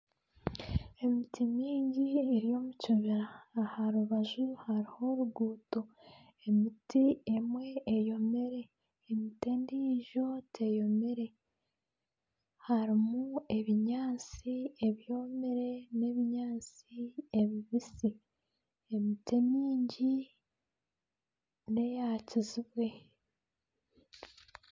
Emiti mingi eri omu kibira aha rubaju hariho oruguuto emiti emwe eyomire, emiti endiijo teyomire, harimu ebinyaatsi ebyomire nana ebinyaatsi ebibisi emiti emingi neyakizibwe.